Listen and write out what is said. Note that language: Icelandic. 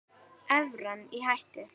Evran í hættu?